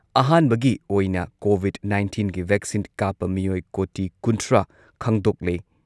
ꯑꯍꯥꯟꯕꯒꯤ ꯑꯣꯏꯅ ꯀꯣꯚꯤꯗ ꯅꯥꯏꯟꯇꯤꯟꯒꯤ ꯚꯦꯛꯁꯤꯟ ꯀꯥꯞꯄ ꯃꯤꯑꯣꯏ ꯀꯣꯇꯤ ꯀꯨꯟꯊ꯭ꯔꯥ ꯈꯪꯗꯣꯛꯂꯦ꯫